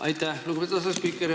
Aitäh, lugupeetud asespiiker!